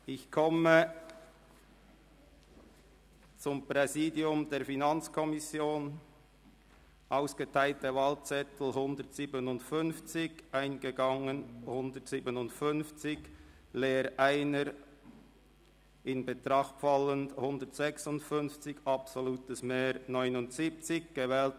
Bei 157 ausgeteilten und 157 eingegangenen Wahlzetteln, wovon leer 1 und ungültig 0, in Betracht fallend 156, wird bei einem absoluten Mehr von 79 gewählt: